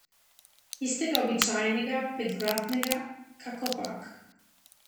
Tistega običajnega, petvratnega, kakopak.